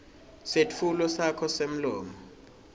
setfulo sakho semlomo